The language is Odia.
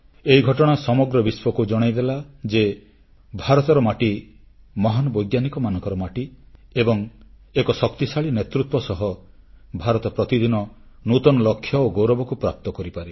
ଏହି ଘଟଣା ସମଗ୍ର ବିଶ୍ୱକୁ ଜଣାଇଦେଲା ଯେ ଭାରତର ମାଟି ମହାନ୍ ବୈଜ୍ଞାନିକମାନଙ୍କର ମାଟି ଏବଂ ଏକ ଶକ୍ତିଶାଳୀ ନେତୃତ୍ୱ ସହ ଭାରତ ପ୍ରତିଦିନ ନୂତନ ଲକ୍ଷ୍ୟ ଓ ଗୌରବକୁ ପ୍ରାପ୍ତ କରିପାରେ